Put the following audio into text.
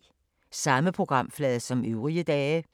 Samme programflade som øvrige dage